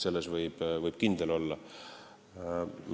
Selles võib kindel olla.